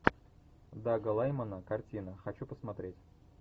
дага лаймона картина хочу посмотреть